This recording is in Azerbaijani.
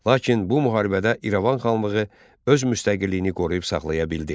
Lakin bu müharibədə İrəvan xanlığı öz müstəqilliyini qoruyub saxlaya bildi.